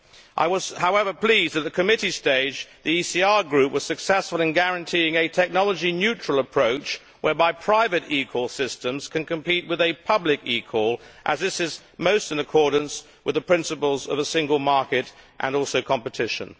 I was however pleased at the committee stage that the ECR Group was successful in guaranteeing a technology neutral approach whereby private eCall systems can compete with a public eCall, as this is most in accordance with the principles of a single market and also competition.